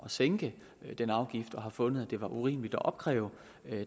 at sænke den afgift eller har fundet at det var urimeligt at opkræve